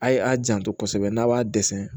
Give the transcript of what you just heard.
A' ye a janto kosɛbɛ n'a b'a dɛsɛ